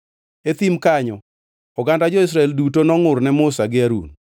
E thim kanyo oganda jo-Israel duto nongʼur ne Musa gi Harun.